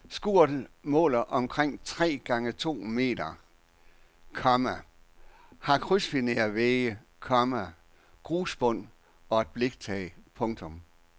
Skuret måler omkring tre gange to meter, komma har krydsfinervægge, komma grusbund og et bliktag. punktum